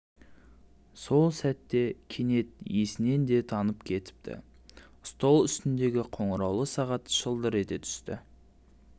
сол сәтте кенет есінен де танып кетіптістол үстіндегі қоңыраулы сағат шылдыр ете түсті